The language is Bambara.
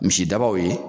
Misi dabaw ye